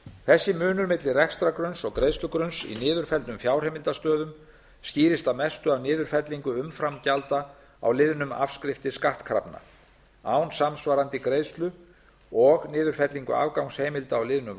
þessi munur milli rekstrargrunns og greiðslugrunns í niðurfelldum fjárheimildastöðum skýrist að mestu af niðurfellingu umframgjalda á liðnum afskriftir skattkrafna án samsvarandi greiðslu og niðurfellingu afgangsheimilda á liðnum